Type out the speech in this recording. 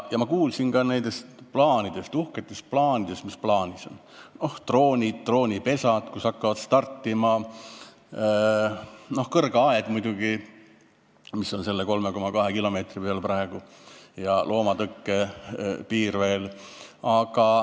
Ma kuulsin ka nendest uhketest plaanidest: droonid, droonipesad, kust hakkavad droonid startima, kõrge aed muidugi, mis on selle 3,2 kilomeetri peal praegu, ja loomatõkkepiir ka veel.